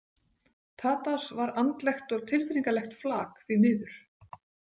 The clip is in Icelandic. Tadas var andlegt og tilfinningalegt flak, því miður.